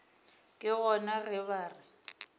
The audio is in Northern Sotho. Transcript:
ke gona ge ba re